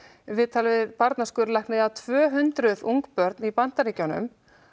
viðtal við barna skurðlækni um að tvö hundruð ungbörn í Bandaríkjunum